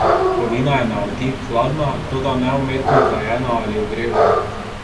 Kovina je na otip hladna, toda ne umetno hlajena ali ogrevana.